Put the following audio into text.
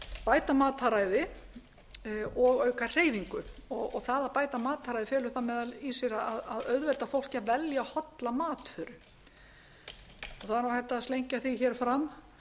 bæta mataræði og auka hreyfingu og það að bæta matarræði felur það meðal annars í sér að auðvelda fólki að velja hollar matvörur það er hægt að slengja því fram